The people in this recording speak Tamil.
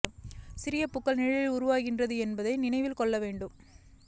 சிறிய பூக்கள் நிழலில் உருவாகின்றன என்பதை நினைவில் கொள்ள வேண்டும்